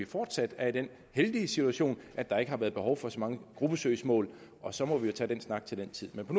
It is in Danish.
fortsat er i den heldige situation at der ikke har været behov for så mange gruppesøgsmål og så må vi jo tage snakken til den tid men på